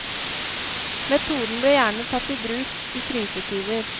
Metoden ble gjerne tatt i bruk i krisetider.